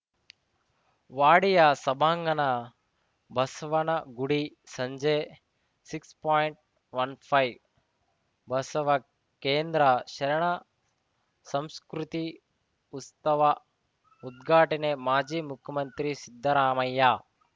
ವಾಡಿಯಾ ಸಭಾಂಗಣ ಬಸವನಗುಡಿ ಸಂಜೆ six point one five Basavakendra ಶರಣ ಸಂಸ್ಕೃತಿ ಉಸ್ತವ ಉದ್ಘಾಟನೆ ಮಾಜಿ ಮುಖ್ಯಮಂತ್ರಿ ಸಿದ್ದರಾಮಯ್ಯ